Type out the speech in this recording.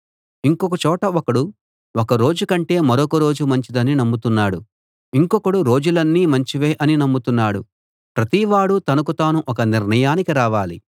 ఇంకొక చోట ఒకడు ఒక రోజు కంటే మరొక రోజు మంచిదని నమ్ముతున్నాడు ఇంకొకడు రోజులన్నీ మంచివే అని నమ్ముతున్నాడు ప్రతివాడూ తనకు తాను ఒక నిర్ణయానికి రావాలి